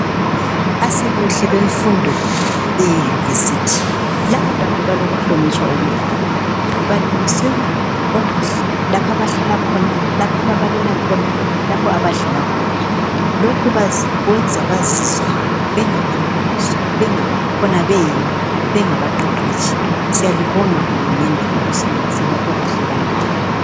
Asibuhle bemfundo yeYunivesithi labo bantu balokuhlonitshwa okukhulu. Balungisela okuhle lapho abahlala khona lapha ababalela khona lapho abadlela khona. Lokhu kwenza bazizwe bengabantu kuzwa khona beyibo bengabaqeqetshi siyalibonga hulumende ngokusilungisela okuhle kangako.